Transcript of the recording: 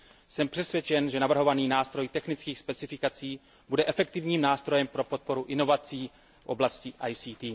Jsem přesvědčen, že navrhovaný nástroj technických specifikací bude efektivním nástrojem pro podporu inovací v oblasti IKT.